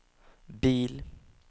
bil